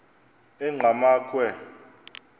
engqamakhwe